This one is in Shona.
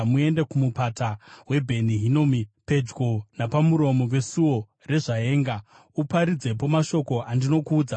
Muende kuMupata waBheni Hinomi, pedyo napamuromo weSuo reZvaenga. Uparidzepo mashoko andinokuudza,